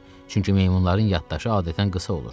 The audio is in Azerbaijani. Çünki meymunların yaddaşı adətən qısa olur.